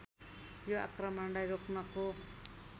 यो आक्रमणलाई रोक्नको